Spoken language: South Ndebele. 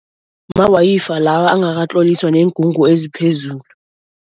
Mawayifa lawa angakatloliswa neengungu eziphezulu.